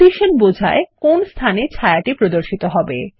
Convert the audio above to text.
position বোঝায় কোন স্থানে ছায়া প্রদর্শিত হবে